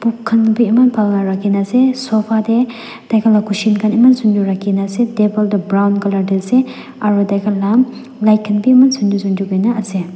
khun bi eman phal para rakhikena ase sofa te diakan la cushion eman sundor para rakhi ase table toh brown colour te ase aro daikan la light khan eman sundor sundor korena ase.